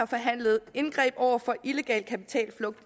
forhandlet indgreb over for illegal kapitalflugt